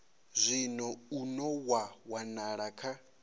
zwino une wa wanala kha